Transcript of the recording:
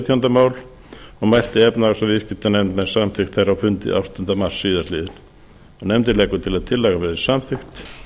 á alþingi og mælti efnahags og viðskiptanefnd með samþykkt þeirra á fundi áttunda mars síðastliðinn nefndin leggur til að tillagan verði samþykkt